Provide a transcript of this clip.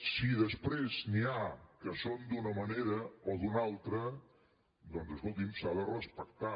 si després n’hi ha que són d’una manera o d’una altra doncs escolti’m s’ha de respectar